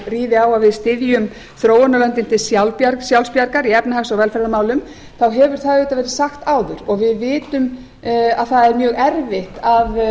ríði á að við styðjum þróunarlöndin til sjálfsbjargar í efnahags og velferðarmálum þá hefur það auðvitað verið sagt áður og við vitum að það er mjög erfitt að